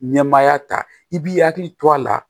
Nɛmaya ta i b'i hakili to a la